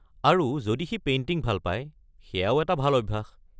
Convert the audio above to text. আৰু, যদি সি পেইণ্টিং ভাল পায়, সেয়াও এটা ভাল অভ্যাস।